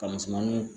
Ka misɛnmaninw